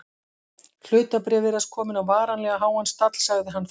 Hlutabréf virðast komin á varanlega háan stall sagði hann þá.